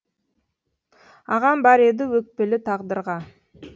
ағам бар еді өкпелі тағдырға